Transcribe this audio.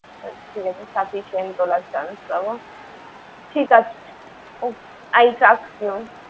আচ্ছা, ঠিক আছে sufficient তোলার chance পাবো। ঠিক আছে। I trust you ।